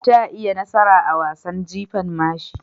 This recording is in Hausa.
Ta yi nasara a wasan jifan mashi.